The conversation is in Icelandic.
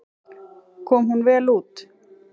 Kom hún vel út.